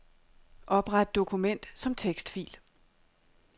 Opret dokument som tekstfil.